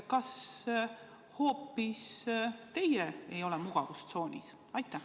Kas hoopis teie ei ole mugavustsoonis?